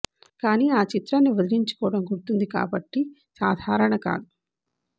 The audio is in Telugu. కానీ ఆ చిత్రాన్ని వదిలించుకోవటం గుర్తుంది కాబట్టి సాధారణ కాదు